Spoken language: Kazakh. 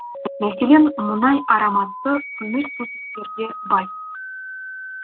мәселен мұнай ароматты көмірсутектерге бай